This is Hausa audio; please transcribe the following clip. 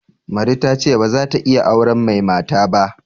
Mari ta ce ba za ta iya auren mai mata ba.